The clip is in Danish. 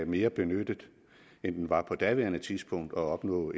mere benyttet end den var på daværende tidspunkt og at opnå